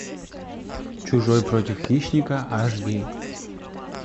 чужой против хищника аш ди